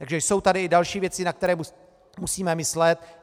Takže jsou tady i další věci, na které musíme myslet.